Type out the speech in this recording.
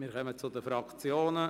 Wir kommen zu den Fraktionen.